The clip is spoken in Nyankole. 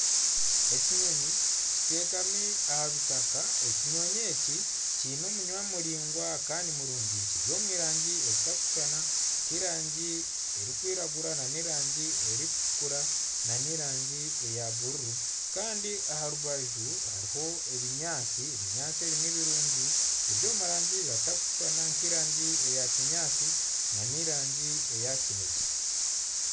Ekinyonyi kiteekami aha bitaka. Ekinyonyi eki kiine omunwa muraingwa kandi kirungi kiri omu rangi zitarikushushana. Nk'erangi erikwiragura n'erangi erikutukura n'erangi eya bururu. Aha rubaju hariho ebinyaatsi. Ebinyaatsi ebi nibirungi biri omu rangi etakushushana nk'erangi eya kinyaatsi n'erangi eyakinyaatsi n'erangi eya kinekye.